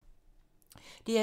DR2